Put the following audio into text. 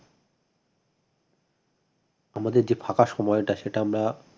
আমাদের যে ফাঁকা সময়টা সেটা আমরা